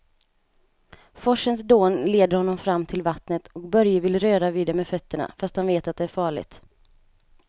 Forsens dån leder honom fram till vattnet och Börje vill röra vid det med fötterna, fast han vet att det är farligt.